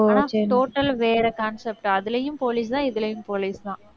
ஆனா total ஆ வேற concept அதிலேயும் police தான் இதிலேயும் police தான்